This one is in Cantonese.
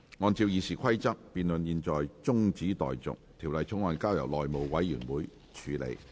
按照《議事規則》，辯論現在中止待續，條例草案交由內務委員會處理。